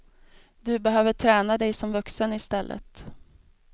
Du behöver träna dig som vuxen istället.